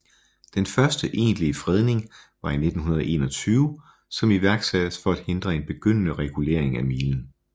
Den første egentlige fredning var i 1921 som iværksattes for at hindre en begyndende regulering af milen